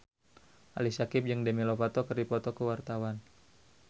Ali Syakieb jeung Demi Lovato keur dipoto ku wartawan